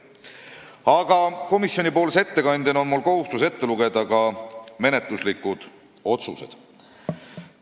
Aga komisjoni ettekandjana on mul kohustus ette lugeda ka menetluslikud otsused.